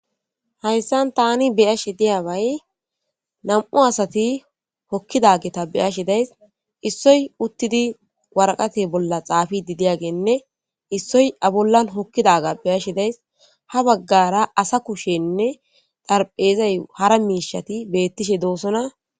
Haysan taani be7ashe diyabay nam7u adati diyageta be7asha dayisi .Issoy uttidi waraqatiya bolla xaafidi diyaganne issoy a bolla hokkidaganne be7ashe daysi .Ha baggara asa kushenne xaraphezay hara miishshati doosona.